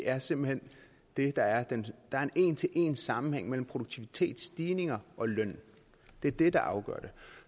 er simpelt hen det der er en en til en sammenhæng mellem produktivitetsstigning og løn det er det der afgør det